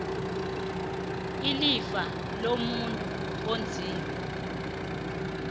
ilifa lomuntu onzima